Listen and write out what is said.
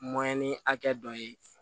ni hakɛ dɔ ye